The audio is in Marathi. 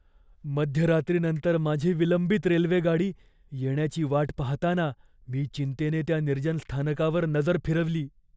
मध्यरात्रीनंतर माझी विलंबित रेल्वेगाडी येण्याची वाट पाहताना मी चिंतेने त्या निर्जन स्थानकावर नजर फिरवली.